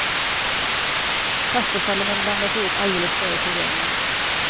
Pastasalladen blandas ihop alldeles före serveringen.